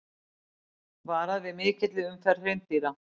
Varað við mikilli umferð hreindýra